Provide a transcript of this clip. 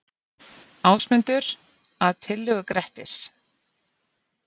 Ásmundur, að tillögu Grettis.